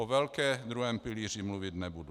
O velké, druhém pilíři, mluvit nebudu.